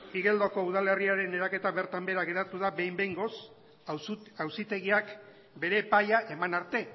igeldoko udalerriaren eraketa bertan behera geratu da behin behingoz auzitegiak bere epaia eman arte